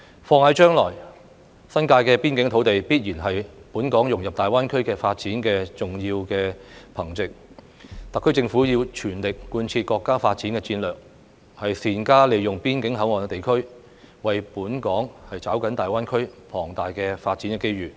放眼將來，新界邊境土地必然是本港融入大灣區發展的重要憑藉，特區政府要全力貫徹國家發展戰略，善加利用邊境口岸地區，為本港抓緊大灣區龐大的發展機遇。